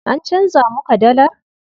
An canza muka dallar?